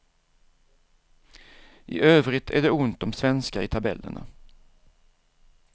I övrigt är det ont om svenskar i tabellerna.